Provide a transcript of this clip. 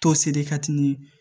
Toseri kati ni